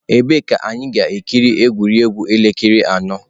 Ebee ka anyị ga-ekiri egwuregwu elekere anọ.